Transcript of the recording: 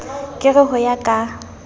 ke re ho ya ka